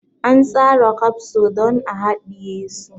An tsara kafso don a hadiye su.